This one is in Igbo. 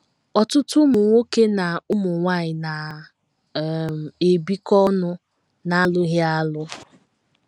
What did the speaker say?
Ọtụtụ ụmụ nwoke na ụmụ nwanyị na - um ebikọ ọnụ n’alụghị alụ.